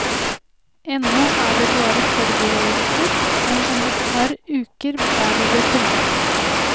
Ennå er det bare forberedelser, men om et par uker bærer det til havs.